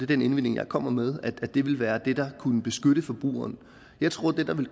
den indvending jeg kommer med ville være det der kunne beskytte forbrugeren jeg tror at det der vil